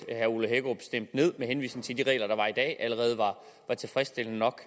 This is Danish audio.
med henvisning til at de regler der var allerede var tilfredsstillende nok